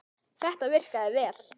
Þetta virkaði vel.